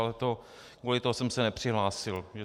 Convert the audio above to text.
Ale kvůli tomu jsem se nepřihlásil.